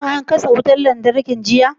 Shin an katse wutar lantarki jiya?